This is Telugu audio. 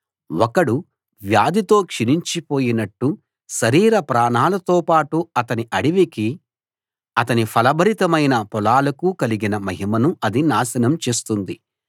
ఒకడు వ్యాధితో క్షీణించిపోయినట్టు శరీర ప్రాణాలతోపాటు అతని అడవికీ అతని ఫలభరితమైన పొలాలకూ కలిగిన మహిమను అది నాశనం చేస్తుంది